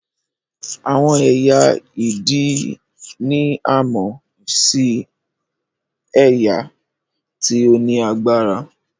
Àwọn ẹyẹ idì ni a mọ sí ẹyẹ tí o ni agbára